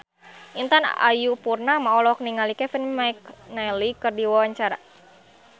Intan Ayu Purnama olohok ningali Kevin McNally keur diwawancara